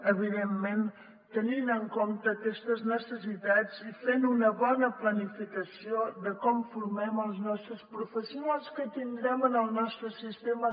evidentment tenint en compte aquestes necessitats i fent una bona planificació de com formem els nostres professionals que tindrem en el nostre sistema